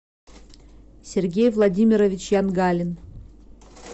сергей владимирович янгалин